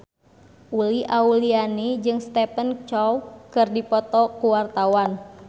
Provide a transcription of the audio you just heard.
Uli Auliani jeung Stephen Chow keur dipoto ku wartawan